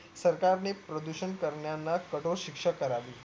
सरकार ने प्रदूषण करणान्या ना कठोर शिक्षा करावी